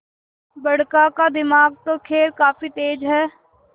बड़का का दिमाग तो खैर काफी तेज है